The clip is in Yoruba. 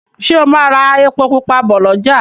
Ṣe o má rà èpo pupa bó l'ọja